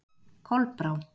Kolbrá